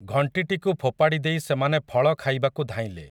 ଘଂଟିଟିକୁ ଫୋପାଡ଼ି ଦେଇ ସେମାନେ ଫଳ ଖାଇବାକୁ ଧାଇଁଲେ ।